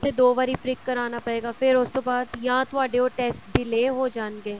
ਦੋ ਵਾਰੀ prick ਕਰਾਣਾ ਪਏਗਾ ਫਿਰ ਉਸ ਤੋਂ ਬਾਅਦ ਜਾਂ ਤੁਹਾਡੇ ਉਹ test delay ਹੋ ਜਾਣਗੇ